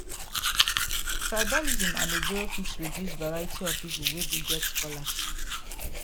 tribalism and ojoro fit reduce reduce variety of people wey go get scholarship